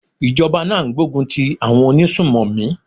Ìjọba náà ń gbógun ti àwọn onísùnmọ̀mí.